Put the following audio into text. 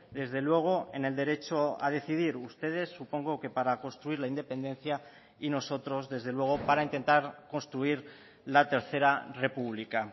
desde luego en el derecho a decidir ustedes supongo que para construir la independencia y nosotros desde luego para intentar construir la tercera república